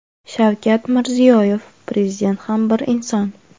Shavkat Mirziyoyev: Prezident ham bir inson.